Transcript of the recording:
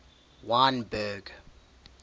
wynberg